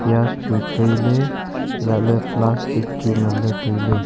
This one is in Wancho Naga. pias chu taile haila le plastic chu ngan le taile.